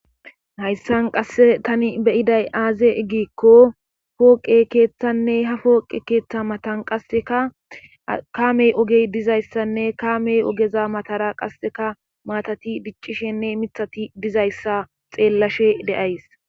hayssan qasse tani beyiday aaze ggikko pooqe keeththanne ha pooqe keeththa matan qassekakaamey ogey dizayssanne kaamey ogeza matara qasseka maatati biccishenne mithati dizayssa xeellashe de'ays